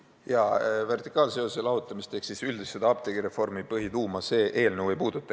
Jah, vertikaalseost ehk siis üldist apteegireformi põhituuma see eelnõu ei puuduta.